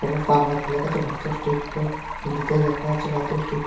লেখা আছে ভারতীয় স্টেট ব্যাঙ্ক হিন্দিতেও লেখা আছে ভারতীয় স্টেট ।